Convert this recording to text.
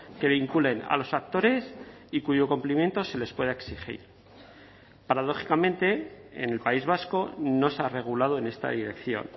que vinculen a los actores y cuyo cumplimiento se les pueda exigir paradójicamente en el país vasco no se ha regulado en esta dirección